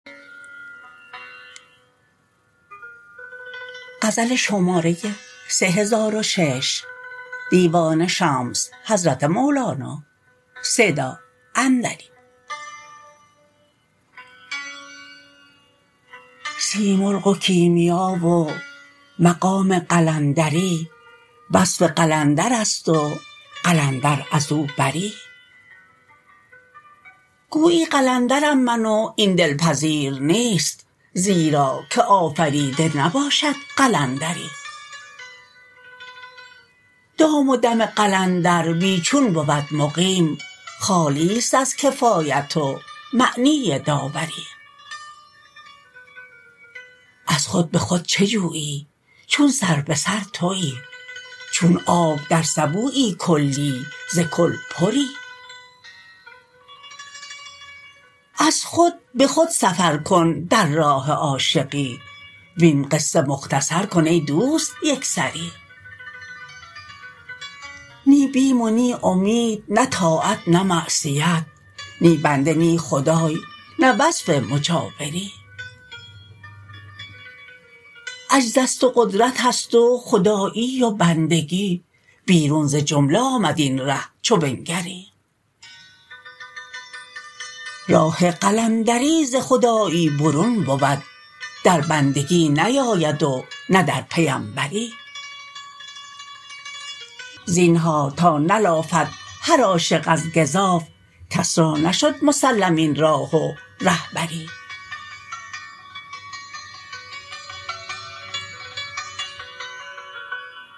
سیمرغ و کیمیا و مقام قلندری وصف قلندرست و قلندر از او بری گویی قلندرم من و این دل پذیر نیست زیرا که آفریده نباشد قلندری دام و دم قلندر بی چون بود مقیم خالیست از کفایت و معنی داوری از خود به خود چه جویی چون سر به سر توی چون آب در سبویی کلی ز کل پری از خود به خود سفر کن در راه عاشقی وین قصه مختصر کن ای دوست یک سری نی بیم و نی امید نه طاعت نه معصیت نی بنده نی خدای نه وصف مجاوری عجزست و قدرتست و خدایی و بندگی بیرون ز جمله آمد این ره چو بنگری راه قلندری ز خدایی برون بود در بندگی نیاید و نه در پیمبری زینهار تا نلافد هر عاشق از گزاف کس را نشد مسلم این راه و ره بری